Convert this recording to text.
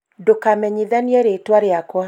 ndũkamenyithanie rĩtwa rĩakwa